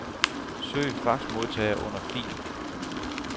Søg faxmodtager under fil.